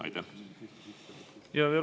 Aitäh!